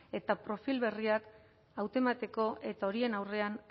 eta profil berriak hautemateko eta horien aurrean